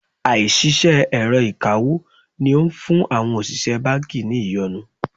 Àìṣiṣẹ́ èrọ ìkawó ni ó ń fún àwọn òṣìṣẹ́ báńkì ní ìyọnu.